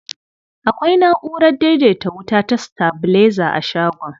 Akwai na'urar daidaita wuta ta sitabilaiza a shagon.